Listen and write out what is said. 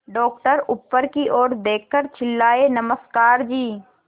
doctor ऊपर की ओर देखकर चिल्लाए नमस्कार जी